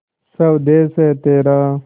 स्वदेस है तेरा